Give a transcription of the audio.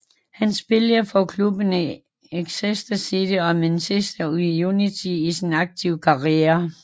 Han spillede for klubberne Exeter City og Manchester United i sin aktive karriere